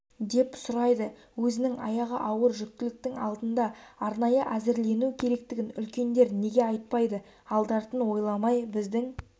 деп сұрайды өзінің аяғы ауыр жүктіліктің алдында арнайы әзірлену керектігін үлкендер неге айтпайды алды-артын ойламай біздің